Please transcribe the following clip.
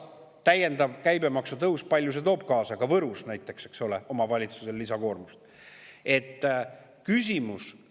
Härra Allas, kui palju lisakoormust toob omavalitsusele käibemaksu tõus kaasa näiteks Võrus?